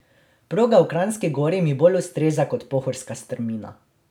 Proga v Kranjski Gori mi bolj ustreza kot pohorska strmina.